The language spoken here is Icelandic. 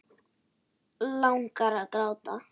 Langar að gráta.